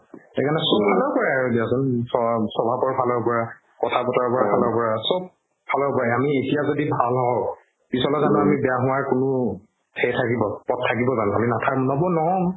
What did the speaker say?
সেইকাৰণে চব ফালৰ পৰা দিয়াচোন স্ৱাভাবৰ ফালৰ পৰা কথা বাতাৰা ফালৰ পৰা চব ফালৰ পৰা আমি এতিয়া যদি ভাল হও পিছলৈ যানো আমাৰ বেয়া হুৱাৰ কোনো সেই থাকিব পথ থাকিবো জানো আমি নাথা~